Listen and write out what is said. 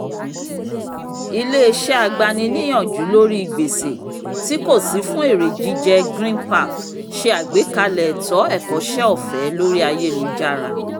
iléeṣé agbàni-níyànjú lórí gbèsè tí kò sí fún èrè jíjẹ greenpath ṣe àgbékalẹ̀ ètò ẹ̀kọ́ṣẹ́ ọ̀fẹ́ lórí ayélujára